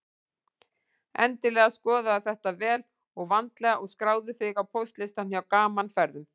Endilega skoðaðu þetta vel og vandlega og skráðu þig á póstlistann hjá Gaman Ferðum.